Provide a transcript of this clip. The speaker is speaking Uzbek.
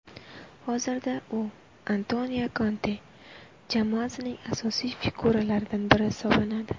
Hozirda u Antonio Konte jamoasining asosiy figuralaridan biri hisoblanadi.